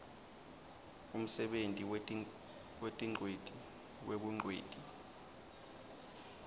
umsebenti wetingcweti webungcweti